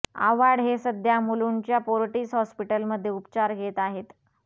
आव्हाड हे सध्या मुलुंडच्या फोर्टिस हॉस्पिटलमध्ये उपचार घेत आहेत